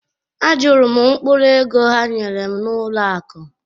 Ajụrụ m mkpụrụ ego ha nyere m n’ụlọ akụ̀